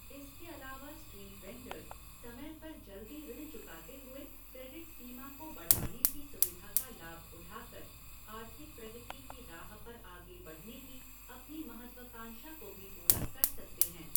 इसके अलावा street vendors समय पर जल्दी ऋण चुकाते हुए क्रेडिट सीमा को बढ़ाने की सुविधा का लाभ उठाकर आर्थिक प्रगति की राह पर आगे बढ़ने की अपनी महत्वाकांक्षा को भी पूरा कर सकते हैं।